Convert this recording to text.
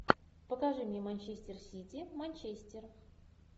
покажи мне манчестер сити манчестер